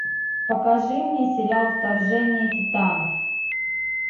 покажи мне сериал вторжение титанов